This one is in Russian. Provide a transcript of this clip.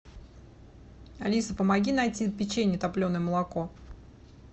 алиса помоги найти печенье топленое молоко